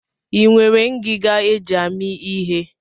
I nwere ngiga e ji amị ihe?